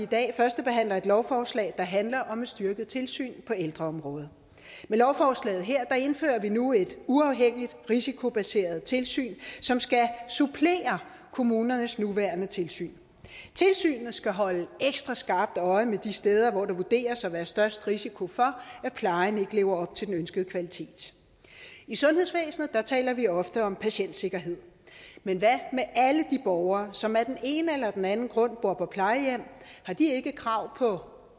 dag førstebehandler et lovforslag der handler om et styrket tilsyn på ældreområdet med lovforslaget indfører vi nu et uafhængigt risikobaseret tilsyn som skal supplere kommunernes nuværende tilsyn tilsynet skal holde ekstra skarpt øje med de steder hvor der vurderes at være størst risiko for at plejen ikke lever op til den ønskede kvalitet i sundhedsvæsenet taler vi ofte om patientsikkerhed men hvad med alle de borgere som af den ene eller den anden grund bor på plejehjem har de ikke et krav på